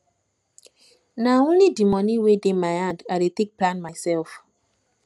nah only di moni wey dey my hand i dey take plan mysef